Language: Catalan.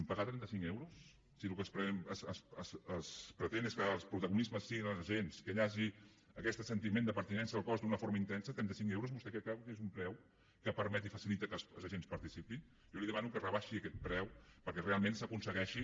pagar trenta cinc euros si el que es pretén és que els protagonistes siguin els agents que hi hagi aquest sentiment de pertinença al cos d’una forma intensa trenta cinc euros vostè creu que és un preu que permet i facilita que els agents hi participin jo li demano que rebaixi aquest preu perquè realment s’aconsegueixi